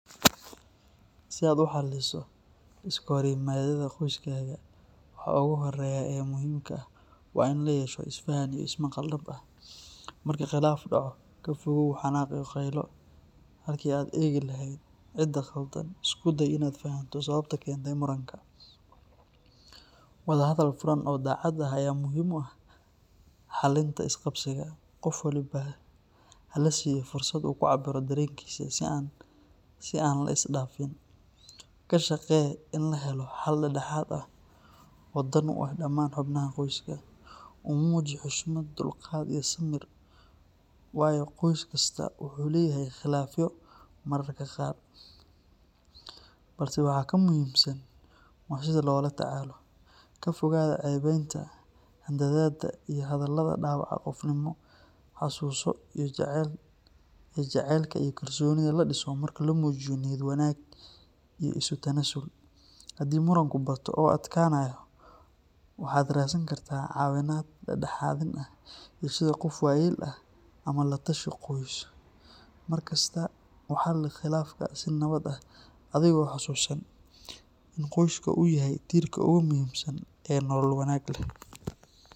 Si aad u xalliso iskahorimaadyada qoyskaaga, waxa ugu horreeya ee muhiimka ah waa in la yeesho isfahan iyo ismaqal dhab ah. Marka khilaaf dhaco, ka fogaaw xanaaq iyo qaylo, halkii aad ka eegi lahayd cidda khaldan, isku day inaad fahanto sababta keentay muranka. Wadahadal furan oo daacad ah ayaa muhiim u ah xallinta isqabqabsiga. Qof walba ha la siiyo fursad uu ku cabbiro dareenkiisa si aan la isdhaafin. Ka shaqee in la helo xal dhex dhexaad ah oo dan u ah dhammaan xubnaha qoyska. U muuji xushmad, dulqaad, iyo samir, waayo, qoys kastaa wuu leeyahay khilaafyo mararka qaar, balse waxa ka muhiimsan waa sida loola tacaalo. Ka fogaada ceebeynta, handadaadda, iyo hadallada dhaawaca qofnimo. Xasuuso in jacaylka iyo kalsoonida la dhiso marka la muujiyo niyad wanaag iyo isu tanaasul. Haddii muranku bato oo adkaanayo, waxaad raadsan kartaa caawimaad dhexdhexaadin ah sida qof waayeel ah ama la tashi qoys. Markasta u xalli khilaafka si nabad ah adigoo xasuusan in qoyskaaga uu yahay tiirka ugu muhiimsan ee nolol wanaag leh.